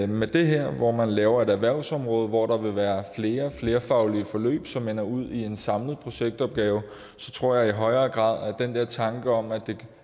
med det her hvor man laver et erhvervsområde hvor der vil være flere flerfaglige forløb som ender ud i en samlet projektopgave tror jeg i højere grad at den der tanke om